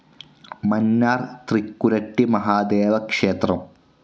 മാന്നാർ തൃക്കുരട്ടി മഹാദേവ ക്ഷേത്രം